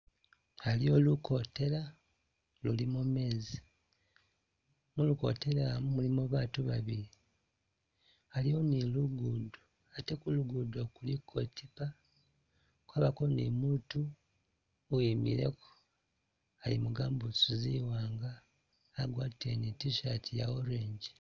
A'liyo lu kotela lulimo mezi, mulukotela mu mulimo baatu babili, a'liwo ni lugudo ate kulugudo kuliko e'tiipa, kwabako ni mutu uwimileko ali mu gamboots zi'waanga, agwatile ni t-shirt ya orange